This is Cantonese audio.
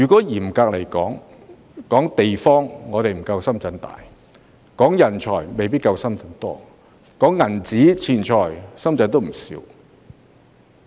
嚴格來說，我們不及深圳地大；人才亦未必夠深圳多；而錢財，深圳也有不少。